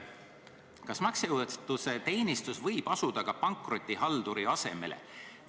Kas maksejõuetuse teenistus võib asuda ka pankrotihalduri asemele?